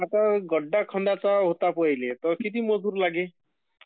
आता गड्डा खणायचे होता मले तर किती मजूर लागेल?